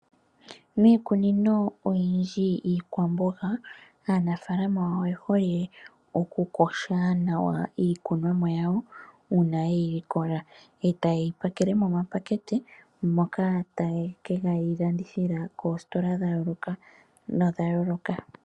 Miikunino oyindji iikwamboga, aanafalama oye hole okukosha nawa iikunomwa ya wo uuna yeyi likola e taye yi pakele momapakete moka taye ke yi landithila moosikola dha yooloka nodha yooloka.